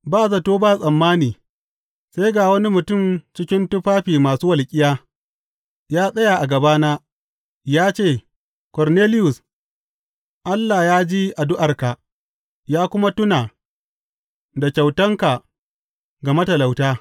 Ba zato ba tsammani sai ga wani mutum cikin tufafi masu walƙiya ya tsaya a gabana ya ce, Korneliyus, Allah ya ji addu’arka, ya kuma tuna da kyautanka ga matalauta.